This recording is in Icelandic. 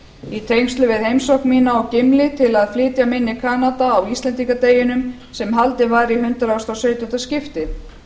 í tengslum við heimsókn mína á gimli til að flytja minni kanada á íslendingadeginum sem haldinn var í hundrað og sautjándu skipti